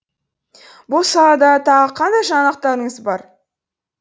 бұл салада тағы қандай жаңалықтарыңыз бар